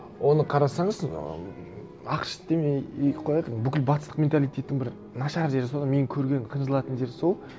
оны қарасаңыз м ақш демей ақ қояйық бүкіл батыстық менталитеттің бір нашар жері сол да мен көрген қынжылатын жер сол